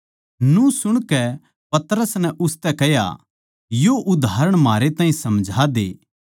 न्यू सुणकै पतरस नै उसतै कह्या यो उदाहरण म्हारै ताहीं समझा दे